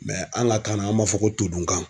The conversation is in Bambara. an ka kan na an b'a fɔ ko todunkan.